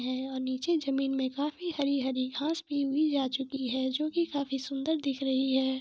रहे है निचे जमीं में काफी हरी हरी घास भी उगी जा चुकी है जो की काफी सुन्दर दिख रही है।